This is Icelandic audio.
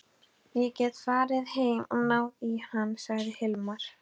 Ég get farið heim og náð í hann, sagði Hilmar.